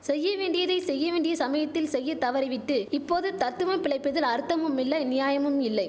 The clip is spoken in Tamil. செய்ய வேண்டியதை செய்ய வேண்டிய சமயத்தில் செய்ய தவறிவிட்டு இப்போது தத்துவம் பிழைப்பதில் அர்த்தமுமில்லை நியாயமும் இல்லை